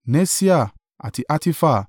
Nesia, àti Hatifa.